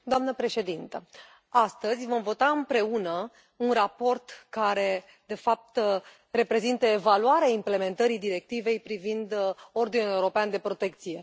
Doamnă președintă, astăzi vom vota împreună un raport care, de fapt, reprezintă evaluarea implementării directivei privind ordinul european de protecție.